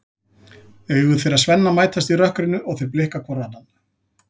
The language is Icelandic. Augu þeirra Svenna mætast í rökkrinu og þeir blikka hvor annan.